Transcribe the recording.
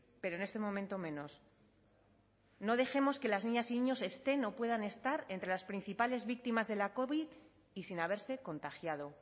pero en este momento menos no dejemos que las niñas y niños estén o puedan estar entre las principales víctimas de la covid y sin haberse contagiado